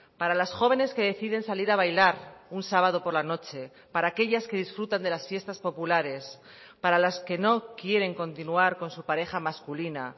para las jóvenes que deciden salir a bailar un sábado por la noche para aquellas que disfrutan de las fiestas populares para las que no quieren continuar con su pareja masculina